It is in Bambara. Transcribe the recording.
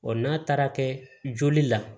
n'a taara kɛ joli la